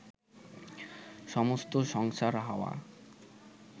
সমস্ত সংসার হাওয়া